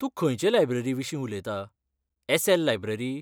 तूं खंयचे लायब्ररीविशीं उलयता, एस.एल. लायब्ररी?